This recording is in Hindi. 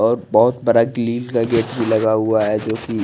और बहोत बड़ा क्लिम का गेट भी लगा हुआ है जो की--